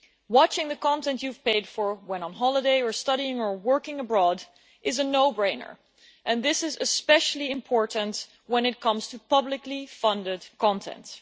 Watching the content you have paid for when on holiday or studying or working abroad is a no brainer and this is especially important when it comes to publicly funded content.